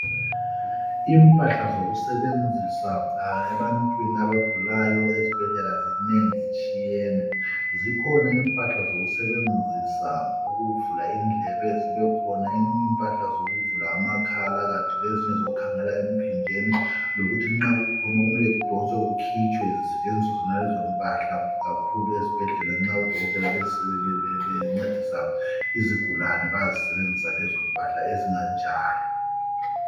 Impahla zokusebenzisa ebantwini abagulayo ezibhedlela zinengi zitshiyene. Zikhona impahla zokusebenzisa ukuvula indlebe zibe khona eyinye impahla zokuvula amakhala kathi lezinye zokukhangela empinjeni lokuthi nxa kukhona okumele kudonswe kukhitshwe zisetshenziswe zona lezo mpahla kakhulu ezibhedlela nxa odokotela bencedisa izigulane bayazisenzisa lezo mpahla ezinganjalo.